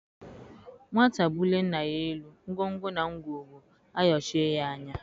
Nwata bulie nna ya elu, ngwongwo na ngwongwo a ayochie ya anya.